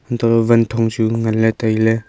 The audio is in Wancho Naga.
untoh wanthong chu nganley tailey.